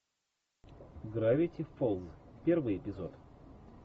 гравити фолз первый эпизод